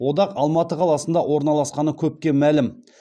одақ алматы қаласында орналасқаны көпке мәлім